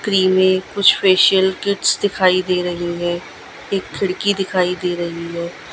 क्रिमें कुछ facial kits दिखाई दे रही है एक खिड़की दिखाई दे रही है।